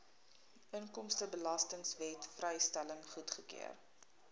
inkomstebelastingwet vrystelling goedgekeur